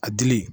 A dili